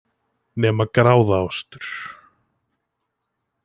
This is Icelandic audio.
Nema gráðaostur,